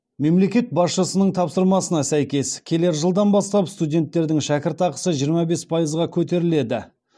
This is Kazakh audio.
мемлекет басшысының тапсырмасына сәйкес келер жылдан бастап студенттердің шәкіртақысы жиырма бес пайызға көтеріледі